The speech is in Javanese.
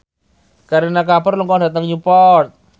Kareena Kapoor lunga dhateng Newport